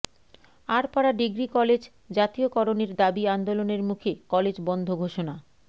আড়পাড়া degree college জাতীয়করণের দাবি আন্দোলনের মুখে কলেজ বন্ধ ঘোষণা